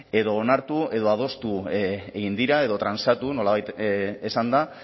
edo onartu edo adostu egin dira edo transatu nolabait esanda